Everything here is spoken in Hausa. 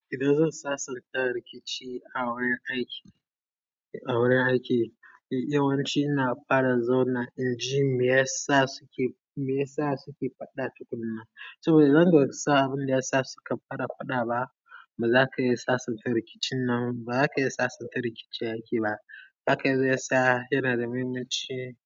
Idan zan sasanta rikici a wurin aiki, a wurin aiki yawanci ina fara zauna in ji me yasa suke, me yasa suke faɗa tukuna. Saboda idan ba ka sa abin da yasa suka fara faɗa ba, ba za ka iya sasanta rikicin nan, ba za ka iya sasanta rikici a aiki ba. Haka zai sa yana da muhimmanci.